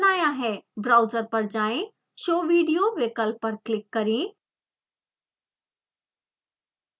browser पर जाएँ show video विकल्प पर क्लिक करें